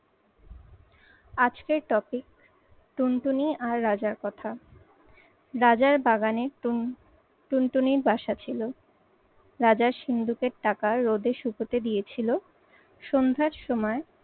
আজকের topic টুনটুনি আর রাজার কথা। রাজার বাগানে টুনটুনির বাসা ছিল। রাজার সিন্দুকের টাকা রোদে শুকোতে দিয়েছিলো। সন্ধ্যার সময়